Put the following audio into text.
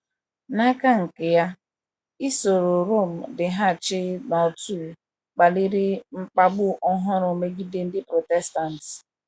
N’aka nke ya, isoro Rom dịghachi n’otu kpaliri mkpagbu ọhụrụ megide ndị Protestant.